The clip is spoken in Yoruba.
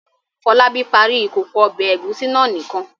Fọlábí parí ìkókó ọbẹ̀ ẹ̀gúsí náà nìkan.